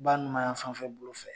ba numanyanfanfɛbolo fɛ.